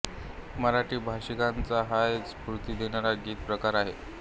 मराठी भाषिकांचा हा एक स्फूर्ति देणारा गीत प्रकार आहे